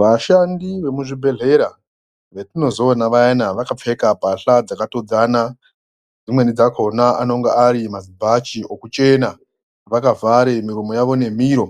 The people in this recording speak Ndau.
Vashandi vemu zvibhedhlera vetinozoona vayana vakapfeka mbatya dzakatodzana, dzimweni dzakona anonga ari mazibhachi ekuchena vakavhare miromo yavo nemiro